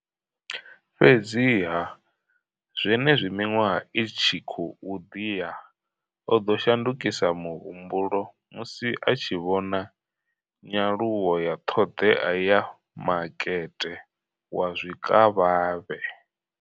Fhedziha, zwenezwi miṅwaha i tshi khou ḓi ya, o ḓo shandukisa muhumbulo musi a tshi vhona nyaluwo ya ṱhoḓea ya makete wa zwikavhavhe.